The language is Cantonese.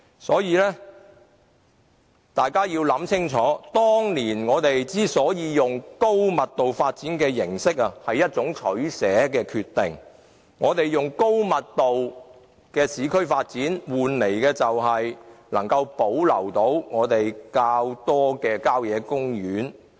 所以，大家要想清楚，當年之所以用高密度發展形式，是一種取捨，我們用高密度的市區發展換來保留較多的郊野公園。